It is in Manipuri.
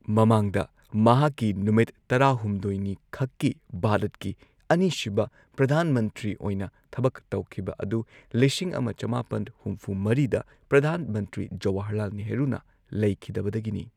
ꯃꯃꯥꯡꯗ ꯃꯍꯥꯛꯀꯤ ꯅꯨꯃꯤꯠ ꯇꯔꯥꯍꯨꯝꯗꯣꯏꯅꯤꯈꯛꯀꯤ ꯚꯥꯔꯠꯀꯤ ꯑꯅꯤꯁꯨꯕ ꯄ꯭ꯔꯙꯥꯟ ꯃꯟꯇ꯭ꯔꯤ ꯑꯣꯏꯅ ꯊꯕꯛ ꯇꯧꯈꯤꯕ ꯑꯗꯨ ꯂꯤꯁꯤꯡ ꯑꯃ ꯆꯃꯥꯄꯟ ꯍꯨꯝꯐꯨ ꯃꯔꯤꯗ ꯄ꯭ꯔꯙꯥꯟ ꯃꯟꯇ꯭ꯔꯤ ꯖꯋꯍꯔꯂꯥꯜ ꯅꯦꯍꯔꯨꯅ ꯂꯩꯈꯤꯗꯕꯗꯒꯤꯅꯤ꯫